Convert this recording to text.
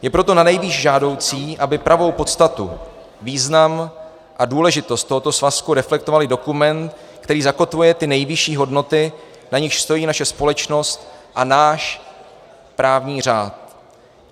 Je proto nanejvýš žádoucí, aby pravou podstatu, význam a důležitost tohoto svazku reflektoval i dokument, který zakotvuje ty nejvyšší hodnoty, na nichž stojí naše společnost a náš právní řád.